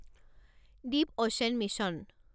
Deep ocean mission